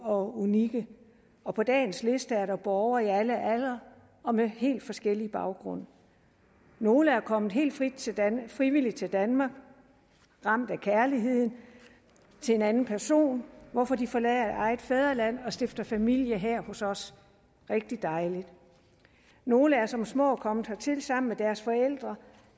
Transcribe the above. og unikke og på dagens liste er der borgere i alle aldre og med helt forskellig baggrund nogle er kommet helt frivilligt til danmark ramt af kærligheden til en anden person hvorfor de forlader eget fædreland og stifter familie her hos os rigtig dejligt nogle er som små kommet hertil sammen med deres forældre